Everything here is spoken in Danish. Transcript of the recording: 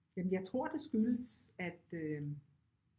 Jamen jeg tror det skyldes at øh